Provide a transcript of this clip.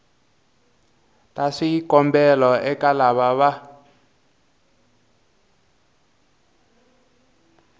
ta swikombelo eka lava va